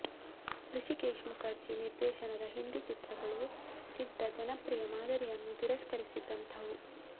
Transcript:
ಹೃಷಿಕೇಶ್ ಮುಖರ್ಜಿ ನಿರ್ದೇಶನದ ಹಿಂದಿ ಚಿತ್ರಗಳು ಸಿದ್ಧ ಜನಪ್ರಿಯ ಮಾದರಿಯನ್ನು ತಿರಸ್ಕರಿಸಿದಂಥವು